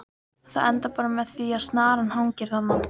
Það endar bara með því að snaran hangir þarna!